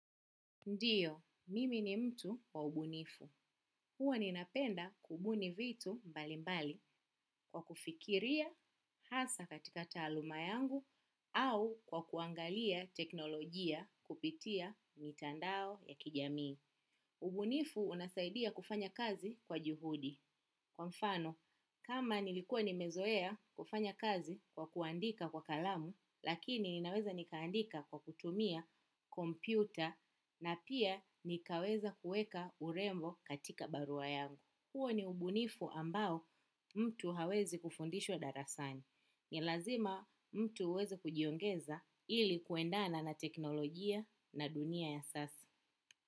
Ndiyo, mimi ni mtu wa ubunifu. Huwa ninapenda kubuni vitu mbali mbali kwa kufikiria hasa katika taaluma yangu au kwa kuangalia teknolojia kupitia mitandao ya kijamii. Ubunifu unasaidia kufanya kazi kwa juhudi. Kwa mfano, kama nilikuwa nimezoea kufanya kazi kwa kuandika kwa kalamu, lakini ninaweza nikaandika kwa kutumia kompyuta na pia nikaweza kueka urembo katika barua yangu. Huo ni ubunifu ambao mtu hawezi kufundishwa darasani. Ni lazima mtu uweze kujiongeza ili kuendana na teknolojia na dunia ya sasa.